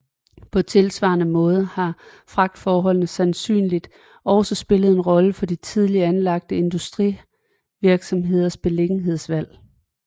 På tilsvarende måde har fragtforholdene øjensynligt også spillet en rolle for de tidligt anlagte industrivirksomheders beliggenhedsvalg